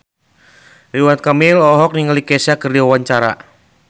Ridwan Kamil olohok ningali Kesha keur diwawancara